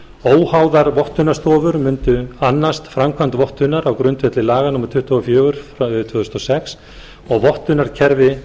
óháðar vottunarstofur mundu annast framkvæmd vottunar á grundvelli laga númer tuttugu og fjögur tvö þúsund og sex og vottunarkerfi